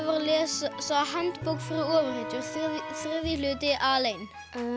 var að lesa handbók fyrir ofurhetjur þriðji hluti alein